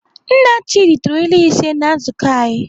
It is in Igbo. Nna Chidi tụrụ ilu ise na nzukọ anyị.